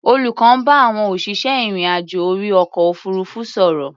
Olùkọ́ ń bá àwọn òṣìṣẹ́ ìrìn-àjò orí ọkọ̀ òfuurufú sọ̀rọ̀.